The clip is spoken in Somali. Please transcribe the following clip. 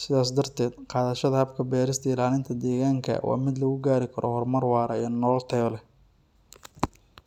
Sidaas darteed, qaadashada habka berista ilaalinta deegaanka waa mid lagu gaari karo horumar waara iyo nolol tayo leh.